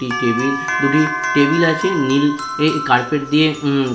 দুটি টেবিল দুটি টেবিল আছে নীল ই কার্পেট দিয়ে উম--